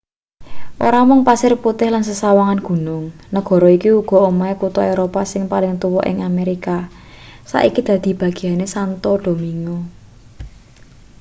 ora mung pasir putih lan sesawangan gunung negara iki uga omahe kutha eropa sing paling tuwa ning amerika saiki dadi bageyane santo domingo